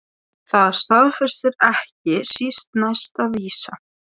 Það er skömm að skulda einstaklingum.